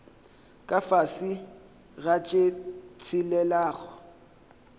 ka fase ga tše tshelelago